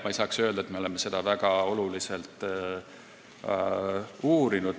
Ma ei saa ka öelda, et me oleme seda teemat väga palju uurinud.